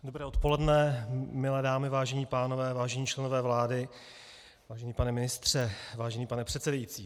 Dobré odpoledne, milé dámy, vážení pánové, vážení členové vlády, vážený pane ministře, vážený pane předsedající.